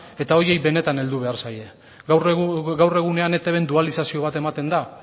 eta horiei benetan heldu behar zaie gaur egunean etbn dualizazio bat ematen da